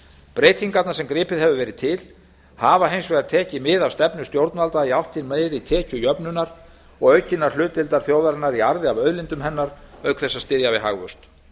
breytingarnar sem gripið hefur verið til hafa hins vegar tekið mið af stefnu stjórnvalda í átt til meiri tekjujöfnunar og aukinnar hlutdeildar þjóðarinnar í arði af auðlindum hennar auk þess að styðja við hagvöxt